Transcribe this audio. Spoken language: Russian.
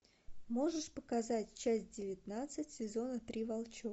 можешь показать часть девятнадцать сезона три волчок